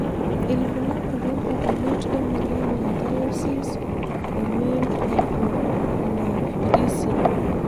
ilbulabul opukunoto emoyian e hthyosis o male hypogonadism?